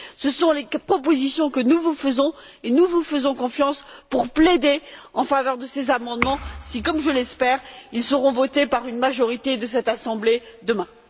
Ce sont les propositions que nous vous faisons et nous vous faisons confiance pour plaider en faveur de ces amendements si, comme je l'espère, ils sont votés par une majorité de cette assemblée demain.